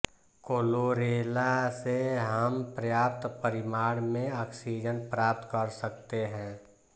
chlorella से हम पर्याप्त परिमाण में ऑक्सीजन प्राप्त कर सकते हैं